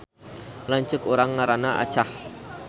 Lanceuk urang ngaranna Acah